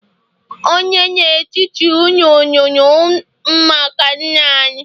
ònye n'etiti unu nuru maka nna-anyi?